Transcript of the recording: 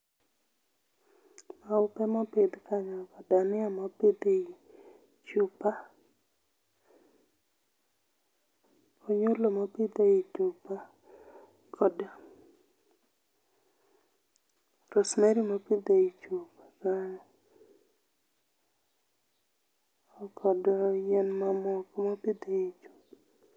Maupe mopidh kanyo go, dhania mopidh e chupa,, oyulo mopidh ei chupa kod pause, rosemary mopidh ei chupa kanyo kod yien mamoko mopidhi e chupa